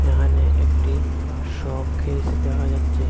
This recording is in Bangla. এখানে একটি শোখিস দেখা যাচ্ছে।